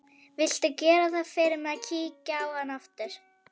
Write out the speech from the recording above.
Viltu gera það fyrir mig að kíkja á hann aftur?